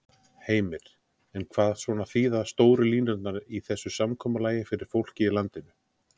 Heimir: En hvað svona þýða stóru línurnar í þessu samkomulagi fyrir fólkið í landinu?